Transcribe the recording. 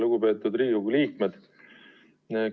Lugupeetud Riigikogu liikmed!